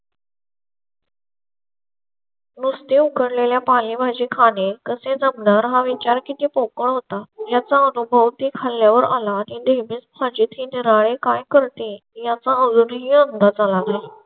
नुसार उकडलेल्या पालेभाजी माझे खाणे कसे जमणार हा विचार किती पोकळ होता याचा अनुभव ती खाल्ल्या वर आला. आम्ही म्हणजे ती निराळे काय करते याचा अजूनही अंदाज आहे.